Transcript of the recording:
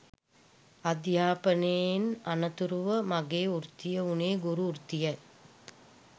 අධ්‍යාපනයෙන් අනතුරුව මගේ වෘත්තිය වුණේ ගුරු වෘත්තිය